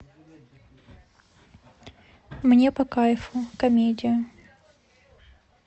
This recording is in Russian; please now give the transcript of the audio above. мне по кайфу комедия